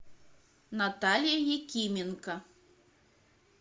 наталья якименко